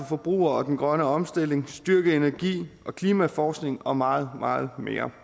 forbrugerne og den grønne omstilling styrket energi og klimaforskning og meget meget mere